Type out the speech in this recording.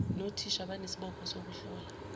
nothisha banesibopho sokuhlola